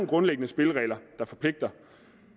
grundlæggende spilleregler der forpligter